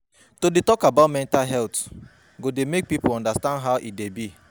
To dey tok about about mental health go make people understand how e dey be.